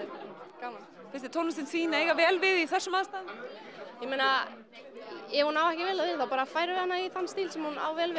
og gaman finnst þér tónlistin þín eiga vel við í þessum aðstæðum ég meina ef hún á ekki vel við þá bara færum við hana í þann stíl sem hún á vel